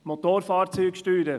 Motorfahrzeugsteuern;